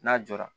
N'a jɔra